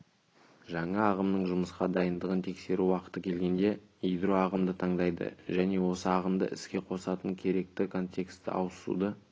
жаңа ағымның жұмысқа дайындығын тексеру уақыты келгенде ядро ағымды таңдайды және осы ағымды іске қосатын керекті контекстке ауысуды